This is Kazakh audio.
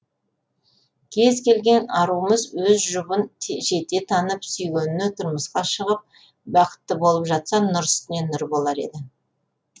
кез келген аруымыз өз жұбын жете танып сүйгеніне тұрмысқа шығып бақытты болып жатса нұр үстіне нұр болар еді